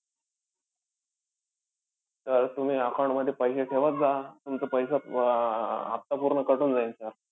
तर तुम्ही account मध्ये पैसे ठेवत जा. तुमचं पैसे आह हफ्ता पूर्ण cut होऊन जाईन sir.